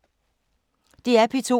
DR P2